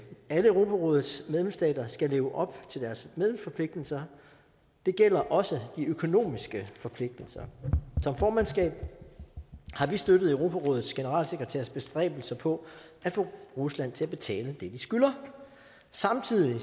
alle europarådets medlemsstater skal leve op til deres medlemsforpligtelser det gælder også de økonomiske forpligtelser som formandskab har vi støttet europarådets generalsekretærs bestræbelser på at få rusland til at betale det de skylder samtidig